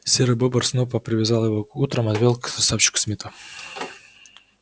серый бобр снопа привязал его и утром отвёл к красавчику смиту